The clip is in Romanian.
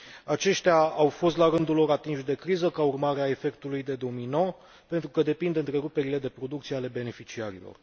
Aceștia au fost, la rândul lor, atinși de criză ca urmare a efectului de domino, pentru că depind de întreruperile de producție ale beneficiarilor.